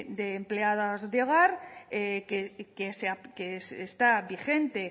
de empleadas de hogar que está vigente